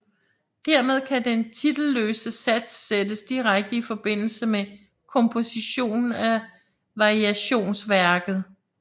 Dermed kan den titelløse sats sættes direkte i forbindelse med kompositionen af variationsværket